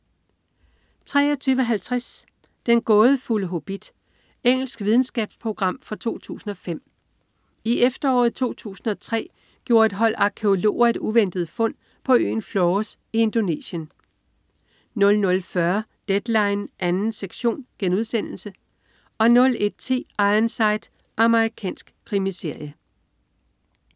23.50 Den gådefulde hobbit. Engelsk videnskabsprogram fra 2005. I efteråret 2003 gjorde et hold arkæologer et uventet fund på øen Flores i Indonesien 00.40 Deadline 2. sektion* 01.10 Ironside. Amerikansk krimiserie